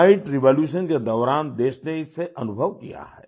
White revolution के दौरान देश ने इसे अनुभव किया है